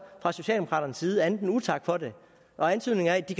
fra socialdemokraternes side andet end utak for det og antydninger af at de